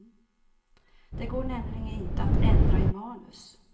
Det går nämligen inte att ändra i manus.